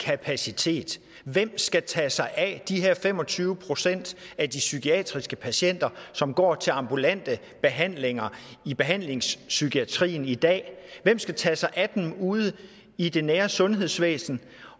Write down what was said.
kapacitet hvem skal tage sig af de her fem og tyve procent af de psykiatriske patienter som går til ambulante behandlinger i behandlingspsykiatrien i dag hvem skal tage sig af dem ude i det nære sundhedsvæsen